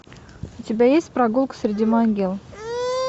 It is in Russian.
у тебя есть прогулка среди могил